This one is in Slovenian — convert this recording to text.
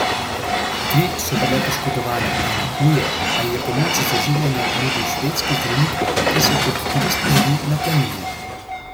Tri so bile poškodovane, ena huje, a ji je pomoč z oživljanjem nudil švedski zdravnik, ki se je kot turist mudil na planini.